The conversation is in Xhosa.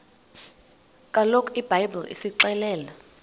kaloku ibhayibhile isixelela